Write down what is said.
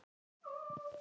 Henni er nóg boðið.